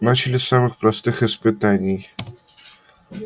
начали с самых простых испытаний